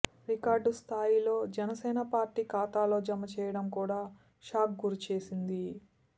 record స్థాయిలో Janasena party ఖాతాలో జమ చేయడం కూడా షాక్కు గురి చేసింది